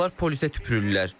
Onlar polisə tüpürürlər.